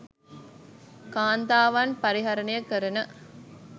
කාන්තාවන් පරිහරණය කරන